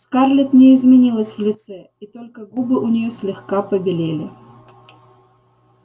скарлетт не изменилась в лице и только губы у неё слегка побелели